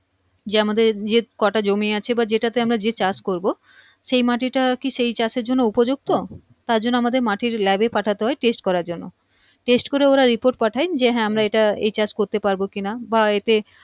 যে আমাদের যে কটা জমি আছে বা যেটাতে যে আমরা যে চাষ করবো সেই মাটিটা কি সেই চাষের জন্য উপযুক্ত তারজন্য আমাদের মাটির lab এ পাঠাতে হয় test করার জন্য test করে ওরা report পাঠায় যে হ্যাঁ আমরা এটা এই চাষ করতে পারবো কিনা বা এতে